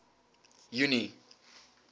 junie